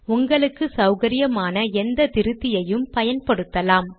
உங்களுக்கு சௌகரியமான எந்த திருத்தியையும் பயன்படுத்தலாம்